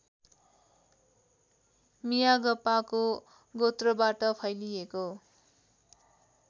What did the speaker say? मियागपाको गोत्रबाट फैलिएको